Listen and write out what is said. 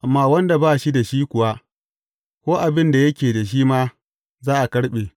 Amma wanda ba shi da shi kuwa, ko abin da yake da shi ma, za a karɓe.